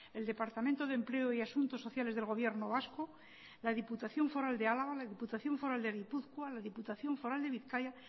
el departamento de empleo y asuntos sociales del gobierno vasco la diputación foral de álava la diputación foral de gipuzkoa la diputación foral de bizkaia